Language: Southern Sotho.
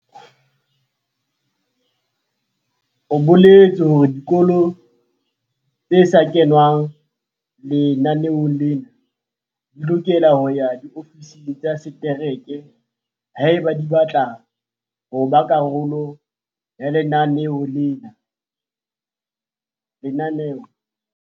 O boletse hore dikolo tse sa kengwang lenaneong lena di lokela ho ya diofising tsa setereke haeba di batla ho ba karolo ya lenaneo lena.